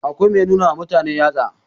akwai Mai nuna wa mutane yatsa